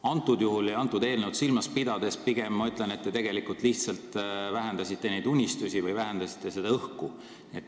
Praegusel juhul ja seda eelnõu silmas pidades ma pigem ütlen, et te tegelikult lihtsalt vähendasite oma unistusi või vähendasite seda õhku.